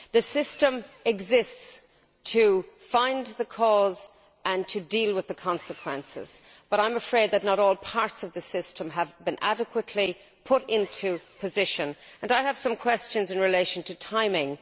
The system exists to find the cause and deal with the consequences, but I am afraid that not all parts of the system have been adequately put in place, and I have some questions in relation to timing.